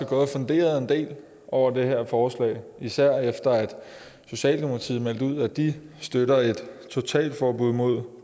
gået og funderet en del over det her forslag især efter at socialdemokratiet meldte ud at de støtter et totalforbud mod